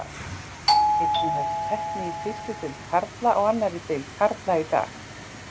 Einnig hefst keppni í fyrstu deild karla og annarri deild karla í dag.